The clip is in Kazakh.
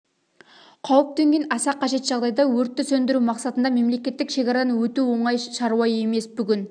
қауіп төнген аса қажет жағдайда өртті сөндіру мақсатында мемлекеттік шекарадан өту оңай шаруа емес бүгін